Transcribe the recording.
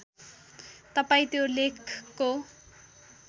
तपाईँ त्यो लेखको